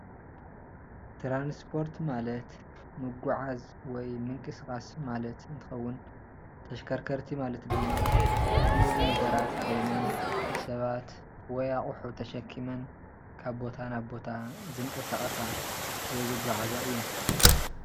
ትራንስፓርት ማለት ምጉዕዓዝ ወይ ምንቅስቃስ ማለት እንትኸዉን ፤ተሽከርከቲ ማለት ድማ ግኡዝ ነገራት ኾይነን ሰባት ወይ ኣቁሑ ተሸኪመን ካብ ቦታ ናብ ቦታ ዝንቀሳቐሳ ወይ ዝጉዓዛ እየን።